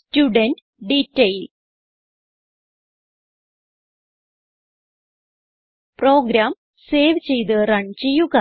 student detail program save ചെയ്ത് run ചെയ്യുക